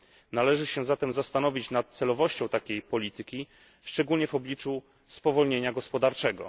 Należy się zatem zastanowić na celowością takiej polityki, szczególnie w obliczu spowolnienia gospodarczego.